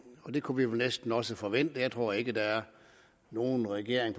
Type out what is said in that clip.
og det kunne vi vel næsten også forvente jeg tror ikke der er nogen regering